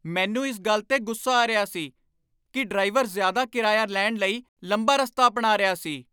ਮੈਨੂੰ ਇਸ ਗੱਲ 'ਤੇ ਗੁੱਸਾ ਆ ਰਿਹਾ ਸੀ ਕਿ ਡਰਾਈਵਰ ਜ਼ਿਆਦਾ ਕਿਰਾਇਆ ਲੈਣ ਲਈ ਲੰਬਾ ਰਸਤਾ ਅਪਣਾ ਰਿਹਾ ਸੀ।